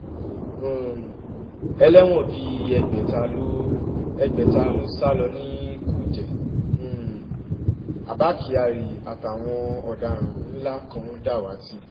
um ẹlẹ́wọ̀n bíi ẹgbẹ̀ta ló ẹgbẹ̀ta ló sá lọ ní kújẹ́ um abba kyari àtàwọn ọ̀daràn ńlá kan dàwátì